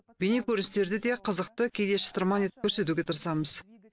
бейнекөріністерді де қызықты кейде шытырман етіп көрсетуге тырысамыз